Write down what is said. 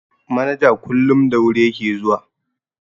Manaja kullum da wuri ya ke zuwa.